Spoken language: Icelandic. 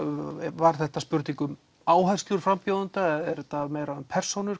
var þetta spurning um áherslur frambjóðenda eða er þetta meira um persónur